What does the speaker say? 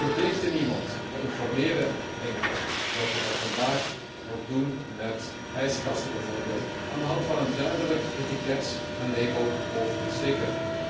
Wij verplichten niemand, we informeren enkel, zoals wij dat vandaag ook doen met ijskasten bijvoorbeeld, aan de hand van een duidelijk etiket, een label of een sticker.